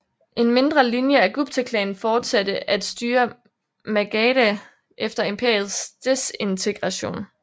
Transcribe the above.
En mindre linje af Guptaklanen fortsatte at styre Magadha efter imperiets desintegration